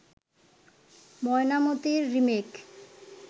'ময়নামতি'র remake